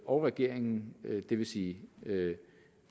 og regeringen det vil sige